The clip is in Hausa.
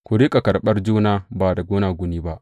Ku riƙa karɓar juna ba da gunaguni ba.